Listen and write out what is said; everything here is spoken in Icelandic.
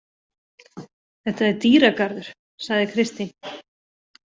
Þetta er dýragarður, sagði Kristín.